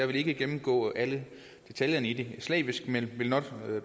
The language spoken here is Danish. vil ikke gennemgå alle detaljerne slavisk men